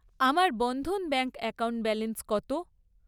আমার Bandhan bank account balance কত?